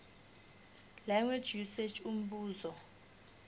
language usage umbuzo